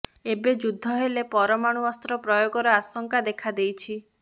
ଏବେ ଯୁଦ୍ଧ ହେଲେ ପରମାଣୁ ଅସ୍ତ୍ର ପ୍ରୟୋଗର ଆଶଙ୍କା ଦେଖାଦେଇଛି